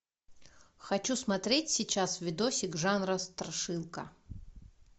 хочу смотреть сейчас видосик жанра страшилка